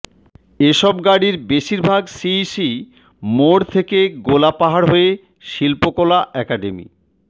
এ সব গাড়ীর বেশিরভাগ সিইসি মোড় থেকে গোলাপাহাড় হয়ে শিল্পকলা একাডেমি